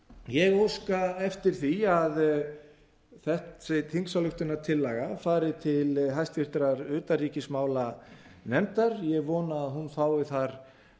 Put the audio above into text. ég óska eftir því að þessi þingsályktunartillaga fari til háttvirtrar utanríkismálanefndar ég eina að hún fái þar